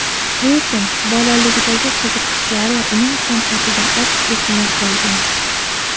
Lekin bolaligidagi qiziqishlari uning san’atida aks etmay qolmagan.